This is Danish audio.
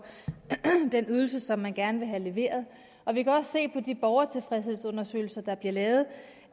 den ydelse som man gerne vil have leveret og vi kan også se på de borgertilfredshedsundersøgelser der bliver lavet